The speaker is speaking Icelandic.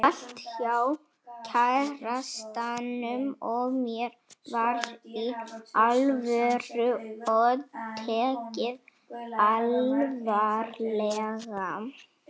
Allt hjá kærastanum og mér var Í ALVÖRU og tekið alvarlega.